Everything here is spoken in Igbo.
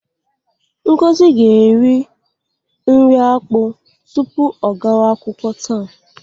Ngozi ga-eri nri akpụ tupu ọ gawa akwụkwọ taa.